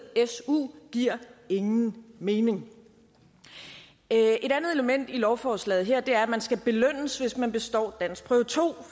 su giver ingen mening et andet element i lovforslaget her er at man skal belønnes hvis man består danskprøve to